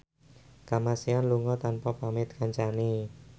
Kamasean lunga tanpa pamit kancane